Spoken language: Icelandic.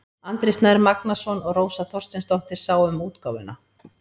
Andri Snær Magnason og Rósa Þorsteinsdóttir sáu um útgáfuna.